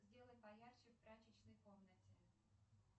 сделай поярче в прачечной комнате